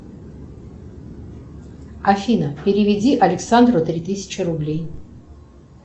афина переведи александру три тысячи рублей